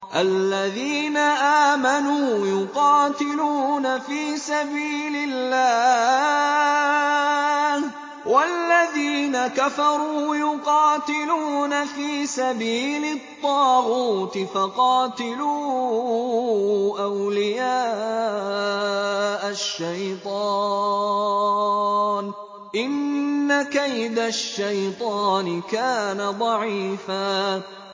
الَّذِينَ آمَنُوا يُقَاتِلُونَ فِي سَبِيلِ اللَّهِ ۖ وَالَّذِينَ كَفَرُوا يُقَاتِلُونَ فِي سَبِيلِ الطَّاغُوتِ فَقَاتِلُوا أَوْلِيَاءَ الشَّيْطَانِ ۖ إِنَّ كَيْدَ الشَّيْطَانِ كَانَ ضَعِيفًا